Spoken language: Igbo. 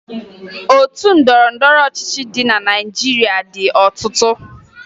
Otu ndọrọndọrọ ọchịchị dị na Naịjirịa dị ọtụtụ